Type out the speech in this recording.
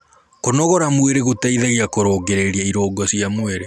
kũnogora mwĩrĩ gũteithagia kurungirirĩa irungo cia mwĩrĩ